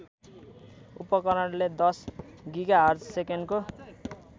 उपकरणले १० गिगाहर्जसेकेन्डको